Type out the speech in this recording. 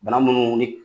Bana munnu ni